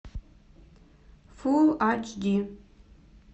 фулл ач ди